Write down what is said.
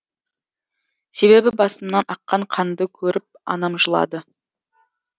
себебі басымнан аққан қанды көріп анам жылады